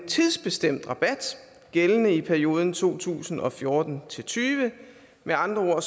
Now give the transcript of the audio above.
tidsbestemt rabat gældende i perioden to tusind og fjorten til tyve med andre